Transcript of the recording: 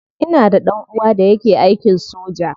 Ina da dan uwa da yake aikin soja.